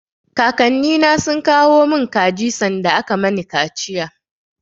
Kakannina sun kawo mun kaji sanda aka mani kaciya.